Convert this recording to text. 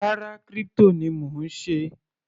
Rárá, crypto ni mò ń ṣe.